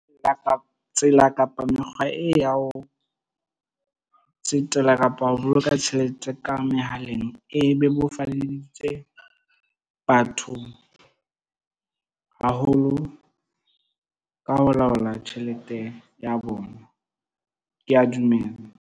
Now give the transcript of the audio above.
tsela kapa mekgwa e ya ho tsetela kapa ho boloka tjhelete ka mehaleng, e bebofaditse batho haholo ka ho laola tjhelete ya bona. Ke a dumela.